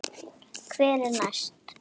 Hver er næstur?